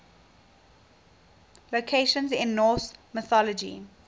locations in norse mythology